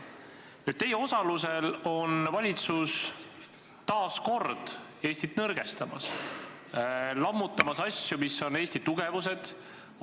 Teie osalusel on valitsus taas kord Eestit nõrgestamas, lammutades asju, mida võib pidada Eesti tugevuseks.